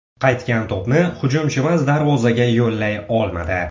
Qaytgan to‘pni hujumchimiz darvozaga yo‘llay olmadi.